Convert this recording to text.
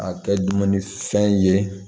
A kɛ dumuni fɛn ye